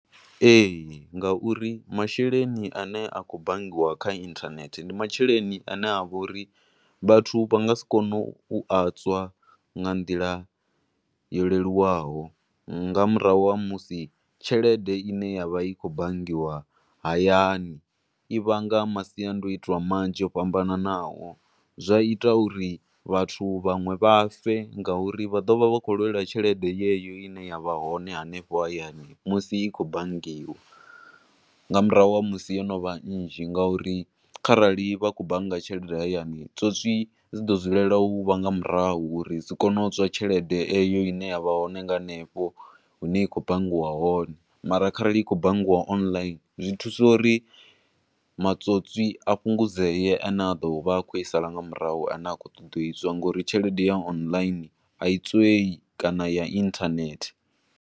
Ee, ngauri masheleni a ne a khou banngiwa kha internet ndi masheleni a ne avha uri vhathu vha nga si kone u a tswa nga nḓila yo leluwaho nga murahu ha musi tshelede ine ya vha i khou banngiwa hayani u vhanga masiandoitwa manzhi o fhambananaho, zwa ita uri vhathu vhanwe vha fe ngauri vha ḓo vha vha tshi khou lwela tshelede yeyo ine ya vha hone hanefho hayani musi i khou banngiwa, nga murahu ha musi yo no vha nzhi ngo uri kharali vha khou bannga tshelede hayani, tswotswi dzi ḓo dzulela u vha nga murahu uri dzi kone utswa tshelede eyo ine ya vha hone nga hanefho hune ya khou banngiwa hone, mara khare i khou banngiwa online, zwi thusa uri matswotswi a fhungudzee a ne a ḓovha a khou i sala nga murahu ne a khou ṱoḓa u itswa, ngouri tshelede ya online a i tswei, kana ya online.